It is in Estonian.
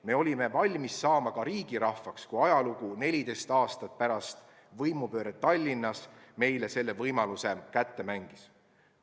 Me olime valmis saama ka riigirahvaks, kui ajalugu 14 aastat pärast võimupööret Tallinnas selle võimaluse meile kätte mängis.